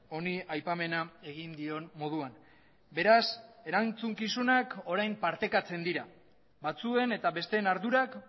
honi aipamena egin dion moduan beraz erantzukizunak orain partekatzen dira batzuen eta besten ardurak